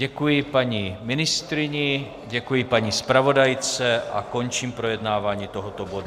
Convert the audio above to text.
Děkuji paní ministryni, děkuji paní zpravodajce a končím projednávání tohoto bodu.